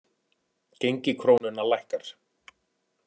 Gengi krónunnar lækkar